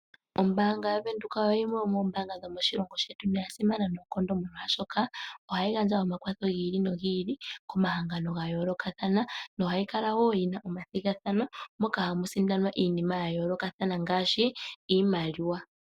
Ombaanga yaVenduka oyo yimwe yomombaanga dhomoshilongo shetu noya simana noonkondo molwaashoka, ohayi gandja omakwatho gi ili nogi ili komahangano ga yoolokathana, no hayi kala woo yi na omathigathano moka hamu sindanwa iinima ya yoolokathana , ngaashi iimaliwa.